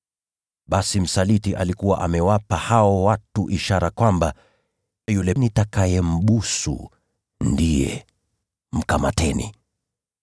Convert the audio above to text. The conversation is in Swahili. Basi msaliti alikuwa amewapa hao watu ishara, kwamba: “Yule nitakayembusu ndiye. Mkamateni.”